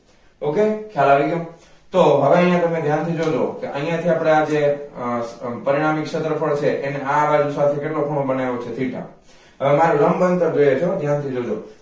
ok ખ્યાલ આવી ગયો તો હવે અહિયાં તમે ધ્યાન થી જોજો કે અહિયાં થી આપણે અહિયાં જે પરિણામી ક્ષેત્રફળ છે કેટલો ખૂણો બનાવ્યો છે theta. હવે મારે લંબ અંતર જોઈએ છે હો ધ્યાન થાય જોજો